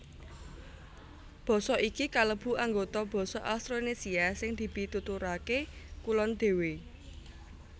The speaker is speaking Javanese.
Basa iki kalebu anggota basa Austronésia sing dipituturaké kulon dhéwé